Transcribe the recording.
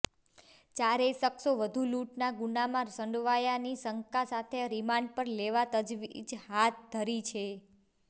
ચારેય શખ્સો વધુ લૂંટના ગુનામાં સંડોવાયાની શંકા સાથે રિમાન્ડ પર લેવા તજવીજ હાથધરી છે